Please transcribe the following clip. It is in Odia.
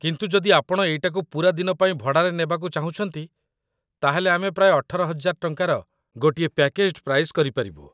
କିନ୍ତୁ ଯଦି ଆପଣ ଏଇଟାକୁ ପୂରା ଦିନ ପାଇଁ ଭଡ଼ାରେ ନେବାକୁ ଚାହୁଁଛନ୍ତି ତା'ହେଲେ ଆମେ ପ୍ରାୟ ୧୮,୦୦୦ ଟଙ୍କାର ଗୋଟିଏ ପ୍ୟାକେଜ୍‌‌ଡ୍‌ ପ୍ରାଇସ୍‌ କରିପାରିବୁ ।